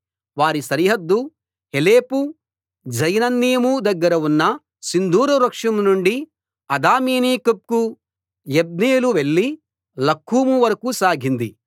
వారి సరిహద్దు Heleph Zaanannim దగ్గర ఉన్న సింధూర వృక్షం నుండి అదామినికెబ్కు యబ్నేలు వెళ్లి లక్కూము వరకూ సాగింది